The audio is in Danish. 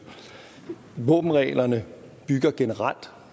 våbenreglerne bygger generelt